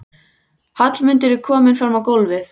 Hallmundur er kominn fram á gólfið.